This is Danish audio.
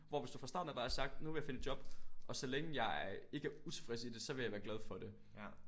Hvor hvis du far starten af bare havde sagt nu vil jeg finde et job og så længe jeg ikke er utilfreds i det så vil jeg være glad for det